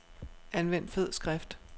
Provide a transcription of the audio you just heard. Anvend fed skrift.